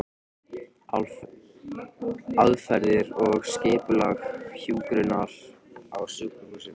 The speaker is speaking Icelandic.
Aðferðir og skipulag hjúkrunar á sjúkrahúsum